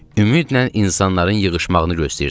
Ümidlə insanların yığışmağını gözləyirdim.